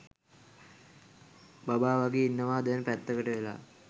බබා වගේ ඉන්නවා දැන් පැත්තකට වෙලා.